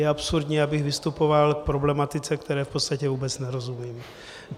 Je absurdní, abych vystupoval k problematice, které v podstatě vůbec nerozumím.